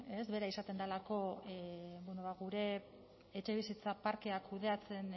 bera izaten delako gure etxebizitza parkea kudeatzen